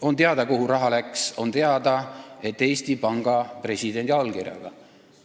On teada, kuhu raha läks, ja on teada, et see läks sinna Eesti Panga presidendi allkirjaga.